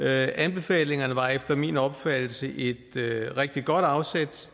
anbefalingerne var efter min opfattelse et rigtig godt afsæt